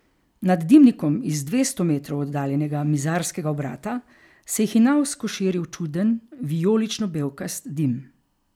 Nad dimnikom iz dvesto metrov oddaljenega mizarskega obrata se je hinavsko širil čuden, vijolično belkast dim.